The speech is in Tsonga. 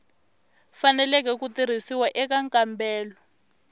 faneleke ku tirhisiwa eka nkambelo